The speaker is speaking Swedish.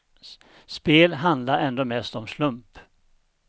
Spel handlar ändå mest om slump.